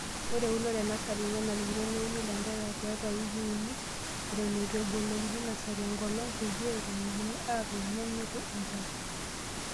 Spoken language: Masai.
Ore eunoto enasari, nenarikino neuni ilanterera tiatwa wikii uni eitoon eitu ebolokini nasari enkolong',peyie etumokini atuun tenenyiku enchan.